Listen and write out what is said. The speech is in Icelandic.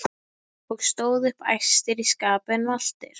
og stóðu upp æstir í skapi en valtir.